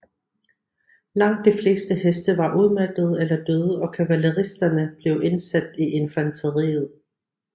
Langt de fleste heste var udmattede eller døde og kavaleristerne blev indsat i infanteriet